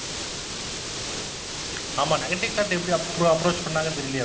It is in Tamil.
ஆமாம் negative character எப்படி approach பண்ணாங்கன்னு தெரியலயே அவருக்கு negative charecter